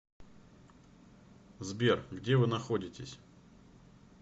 сбер где вы находитесь